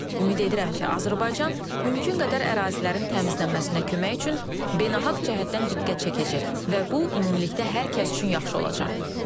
Ümid edirəm ki, Azərbaycan mümkün qədər ərazilərin təmizlənməsinə kömək üçün beynəlxalq cəhətdən diqqət çəkəcək və bu ümumilikdə hər kəs üçün yaxşı olacaq.